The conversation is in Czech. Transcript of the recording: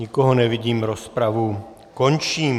Nikoho nevidím, rozpravu končím.